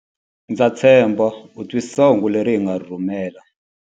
Ndza tshemba u twisisa hungu leri hi nga ri rhumela.